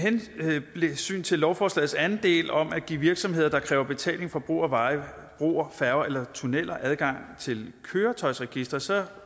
hensyn til lovforslagets anden del om at give virksomheder der kræver betaling for brug af veje broer færger eller tunneler adgang til køretøjsregisteret